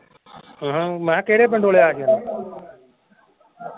ਹਹ ਮੈਂ ਕਿਹਾ ਕਿਹੜੇ ਪਿੰਡੋ ਲਿਆ ਸੀ